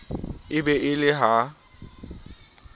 e be e le ha